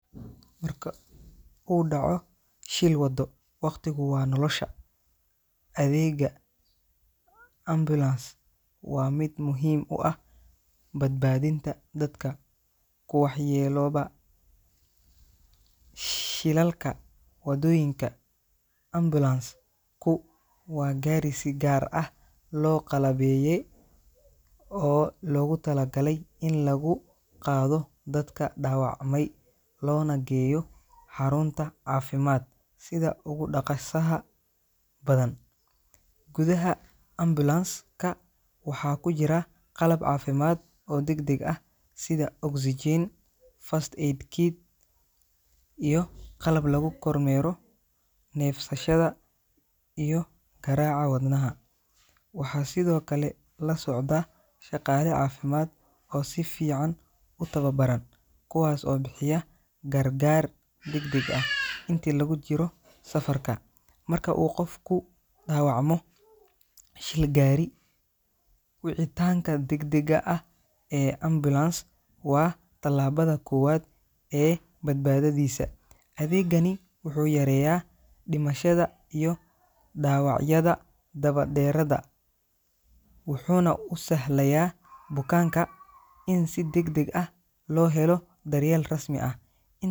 Marka uu dhaco shil waddo, waqtigu waa nolosha. Adeegga ambulance waa mid muhiim u ah badbaadinta dadka ku waxyeellooba shilalka waddooyinka. Ambulance-ku waa gaari si gaar ah loo qalabeeyey oo loogu talagalay in lagu qaado dadka dhaawacmay loona geeyo xarunta caafimaad sida ugu dhaqsaha badan. Gudaha ambulance-ka waxaa ku jira qalab caafimaad oo degdeg ah sida oxygen, first aid kit, iyo qalab lagu kormeero neefsashada iyo garaaca wadnaha. Waxaa sidoo kale la socda shaqaale caafimaad oo si fiican u tababaran, kuwaas oo bixiya gargaar degdeg ah intii lagu jiro safarka. Marka uu qof ku dhaawacmo shil gaari, wicitaanka degdega ah ee ambulance waa tallaabada koowaad ee badbaadadiisa. Adeegani wuxuu yareeyaa dhimashada iyo dhaawacyada daba dheeraada, wuxuuna u sahlayaa bukaanka in si degdeg ah loo helo daryeel rasmi ah. In.